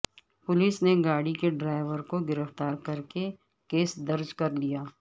police نے گاڑی کے ڈرائیور کو گرفتار کرکے کیس درج کرلیا